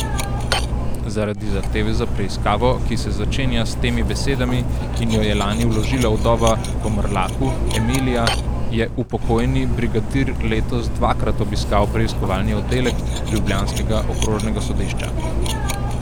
Zaradi zahteve za preiskavo, ki se začenja s temi besedami in jo je lani vložila vdova po Mrlaku, Emilija, je upokojeni brigadir letos dvakrat obiskal preiskovalni oddelek ljubljanskega okrožnega sodišča.